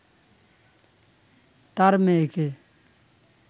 তার মেয়েকে